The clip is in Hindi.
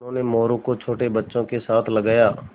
उन्होंने मोरू को छोटे बच्चों के साथ लगाया